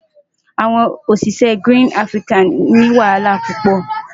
Awon osise Green Africa ni wahala pupo.